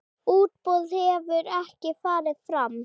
Útboð hefur ekki farið fram.